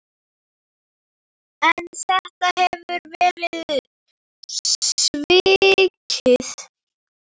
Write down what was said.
En þetta hefur verið svikið.